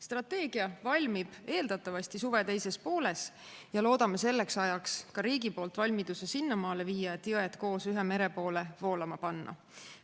Strateegia valmib eeldatavasti suve teises pooles ja loodame selleks ajaks ka riigi poolt valmiduse sinnamaale viia, et jõed koos ühe mere poole voolama panna.